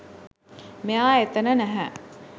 මෙයා එතන නැහැ